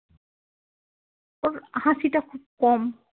হাসিটা খুব কম